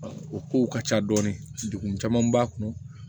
O kow ka ca dɔɔni degun caman b'a kɔnɔ